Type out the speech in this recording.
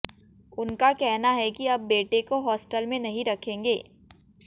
उनका कहना है कि अब बेटे को हॉस्टल में नहीं रखेंगे